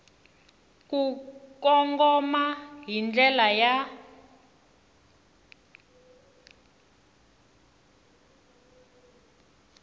ku kongoma hi ndlela ya